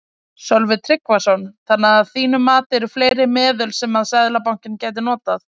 Sölvi Tryggvason: Þannig að þín mati eru fleiri meðöl sem að Seðlabankinn gæti notað?